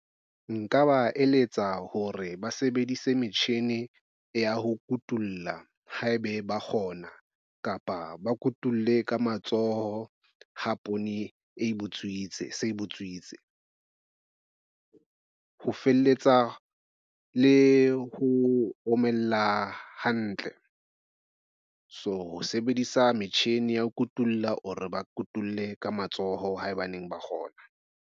Nka ba eletsa hore ba sebedise metjhine ya ho kutulla haebe ba kgona kapa ba kotule ka matsoho ha poone e butswitse se butswitse ho feletsa le ho omella hantle. So, ho sebedisa metjhini ya ho kutulla or re ba kotulle ka matsoho haebaneng ba kgona.